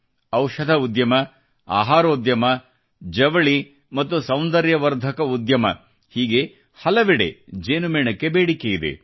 ಔಷಧ ಉದ್ಯಮ ಆಹಾರೋದ್ಯಮ ಜವಳಿ ಮತ್ತು ಸೌಂದರ್ಯ ವರ್ಧಕ ಉದ್ಯಮ ಹೀಗೆ ಹಲವೆಡೆ ಜೇನುಮೇಣಕ್ಕೆ ಬೇಡಿಕೆ ಇದೆ